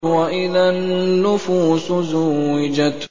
وَإِذَا النُّفُوسُ زُوِّجَتْ